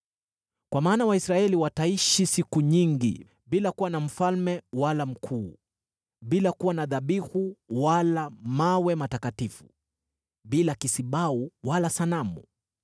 Kwa maana Waisraeli wataishi siku nyingi bila kuwa na mfalme wala mkuu, bila kuwa na dhabihu wala mawe matakatifu, bila kisibau wala sanamu.